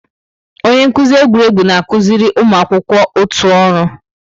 Onye nkuzi egwuregwu na-akụziri ụmụ akwụkwọ otu ọrụ.